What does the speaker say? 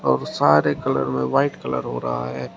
और सारे कलर में व्हाइट कलर हो रहा है।